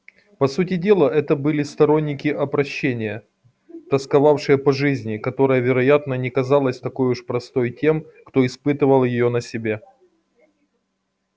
по сути дела это были сторонники опрощения тосковавшие по жизни которая вероятно не казалась такой уж простой тем кто испытал её на себе